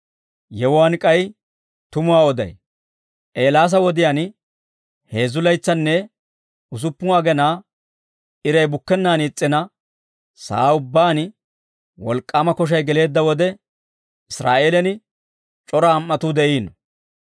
«Yewuwaan k'ay tumuwaa oday: Eelaasa wodiyaan heezzu laytsanne usuppun agenaa iray bukkennaan is's'ina sa'aa ubbaan wolk'k'aama koshay geleedda wode, Israa'eelen c'ora am"atuu de'iino.